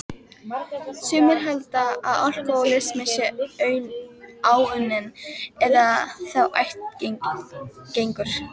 Sumir halda að alkohólismi sé áunninn, eða þá ættgengur.